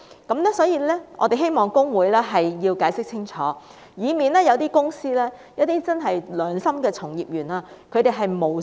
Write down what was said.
因此，我們希望公會解釋清楚，以免一些公司的良心從業員誤墮法網。